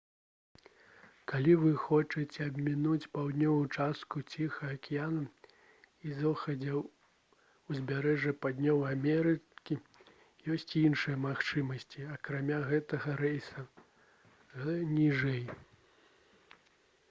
калі вы хочаце абмінуць паўднёвую частку ціхага акіяна і заходняе ўзбярэжжа паўднёвай амерыкі ёсць і іншыя магчымасці акрамя гэтага рэйса гл. ніжэй